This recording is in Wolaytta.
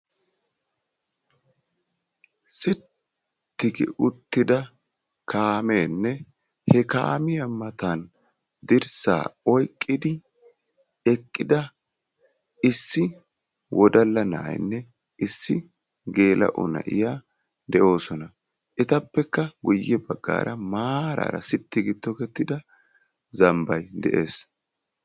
Sitti gi uttida kaamenne he kaamiya matan dirssaa oyqqidi eqida issi wodalla na'ayinne issi gela'o na'iya de'oossona; etappekka guyye baggara maarara siti gi tokketida zambbay de'ees